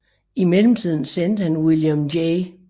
I mellemtiden sendte han William J